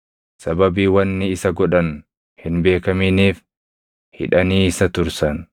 sababii wanni isa godhan hin beekaminiif hidhanii isa tursan.